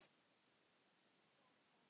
Sjáumst þá!